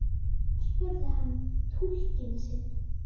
spurði hann túlkinn sinn.